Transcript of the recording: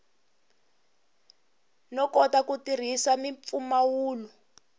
no kota ku tirhisa mimpfumawulo